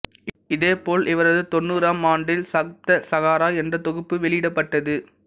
இதேபோல் இவரது தொண்ணூறாம் ஆண்டில் சப்தசாகரா என்ற தொகுப்பு வெளியிடப்பட்டது